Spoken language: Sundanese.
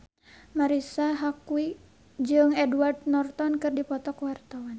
Marisa Haque jeung Edward Norton keur dipoto ku wartawan